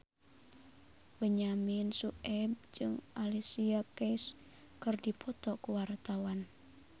Benyamin Sueb jeung Alicia Keys keur dipoto ku wartawan